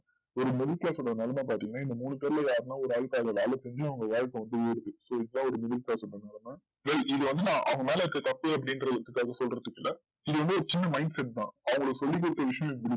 ஒரு நிலமை பாத்திங்கனா இந்த மூணு பேர்ல யார்னாது ஒரு ஆளுக்கு அந்த வேல செஞ்சு இது வந்து அவங்கமேல இருக்க தப்புன்னு அப்டின்றத சொல்றதுகுள்ள இது வந்து ஒரு சின்ன mindset தான் அவங்க சொல்லிக்குடுத்த விஷயம்